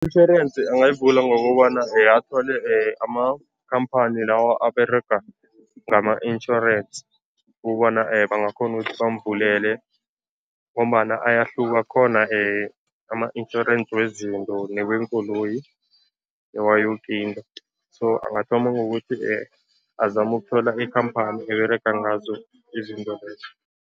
Itjhorensi angayivula ngokobana athole amakhamphani lawa aberega ngama-insurance ukubana bangakghona ukuthi bamvulele ngombana ayahluka. Kukhona ama-insurance wezinto neweenkoloyi, newayoke into, so angathoma ngokuthi azame ukuthola ikhamphani eberega ngazo izinto lezo.